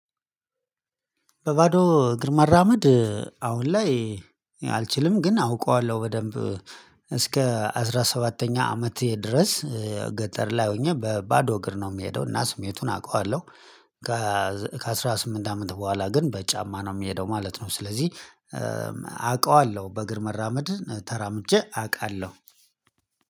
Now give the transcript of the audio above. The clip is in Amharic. በባዶ እግር መራመድ አሁን ላይ አልችልም ግን አውቀዋለሁ በደንብ። እስከ አስራ ሰባተኛ አመቴ ድረስ ገጠር ላይ ሆኜ በባዶ እግር ነው የምሄደው እና ስሜቱን አውቃለሁ። ከአሥራ ስምንት አመት በኋላ ግን በጫማ ነው የምሄደው ማለት ነው ስለዚህ። በእግር መራመድ ተራምጄ አውቃለሁ።